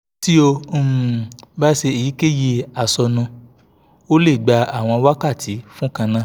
tí o um bá ń ṣe èyíkéyìí àsọnu ó lè gba àwọn wákàtí fún kan náà